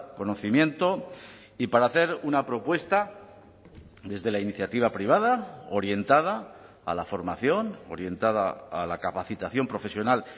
conocimiento y para hacer una propuesta desde la iniciativa privada orientada a la formación orientada a la capacitación profesional